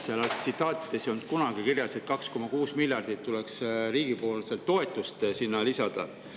Nendes tsitaatides ei olnud, et 2,6 miljardit tuleks sinna riigipoolset toetust.